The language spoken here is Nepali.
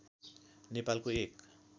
नेपालको एक